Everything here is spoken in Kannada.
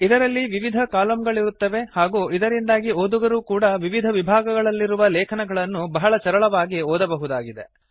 ಇದರಲ್ಲಿ ವಿವಿಧ ಕಾಲಮ್ ಗಳಿರುತ್ತವೆ ಹಾಗೂ ಇದರಿಂದಾಗಿ ಓದುಗರೂ ಕೂಡಾ ವಿವಿಧ ವಿಭಾಗಗಳಲ್ಲಿರುವ ಲೇಖನಗಳನ್ನು ಬಹಳ ಸರಳವಾಗಿ ಓದಬಹುದಾಗಿದೆ